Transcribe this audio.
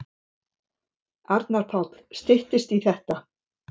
Arnar Páll: Styttist í þetta.